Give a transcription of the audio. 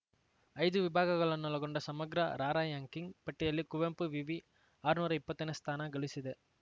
ಐದು ವಿಭಾಗಗಳನ್ನೊಳಗೊಂಡ ಸಮಗ್ರ ರಾರ‍ಯಂಕಿಂಗ್‌ ಪಟ್ಟಿಯಲ್ಲಿ ಕುವೆಂಪು ವಿವಿ ಆರ್ನೂರಾ ಇಪ್ಪತ್ತನೇ ಸ್ಥಾನ ಗಳಿಸಿದೆ